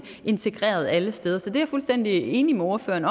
integreret alle steder så det er jeg fuldstændig enig med ordføreren